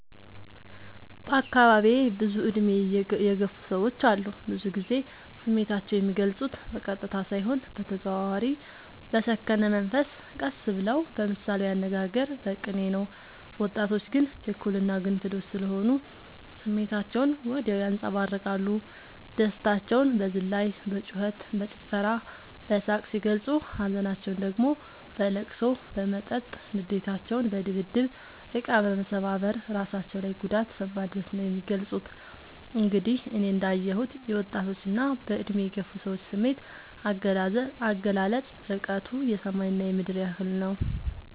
በአካባቢዬ ብዙ እድሜ የገፉ ሰዎች አሉ። ብዙ ግዜ ስሜታቸው የሚልፁት በቀጥታ ሳይሆን በተዘዋዋሪ በሰከነ መንፈስ ቀስ ብለው በምሳሌያዊ አነጋገር በቅኔ ነው። ወጣቶች ግን ችኩል እና ግንፍሎች ስሆኑ ስሜታቸውን ወዲያው ያንፀባርቃሉ። ደስታቸውን በዝላይ በጩከት በጭፈራ በሳቅ ሲገልፁ ሀዘናቸውን ደግሞ በለቅሶ በመጠጥ ንዴታቸውን በድብድብ እቃ መሰባበር እራሳቸው ላይ ጉዳት በማድረስ ነው የሚገልፁት። እንግዲህ እኔ እንዳ የሁት የወጣቶች እና በእድሜ የገፉ ሰዎች ስሜት አገላለፅ እርቀቱ የሰማይ እና የምድር ያህል ነው።